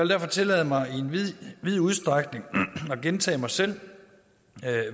derfor tillade mig i vid udstrækning at gentage mig selv